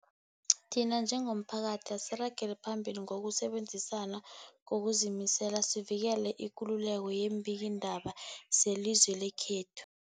Thina njengomphakathi, asiragele phambili ngokusebenzisana ngokuzimisela sivikele ikululeko yeembikiindaba zelizwe lekhethu.